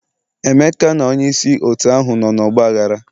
Emeka na onye isi otu ahụ nọ n'ọgba aghara.